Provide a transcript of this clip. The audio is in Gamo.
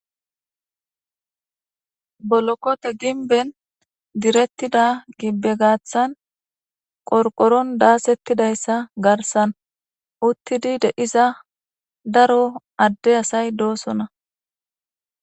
bolokote dinben direttida gibbe gaaththan qorqoron daasettidayssa garsan uttidi de7iza daro adde asay doosona